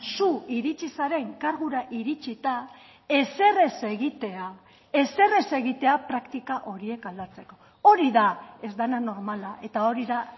zu iritsi zaren kargura iritsita ezer ez egitea ezer ez egitea praktika horiek aldatzeko hori da ez dena normala eta hori da